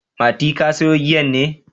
Mati, ka sayo giyan ne?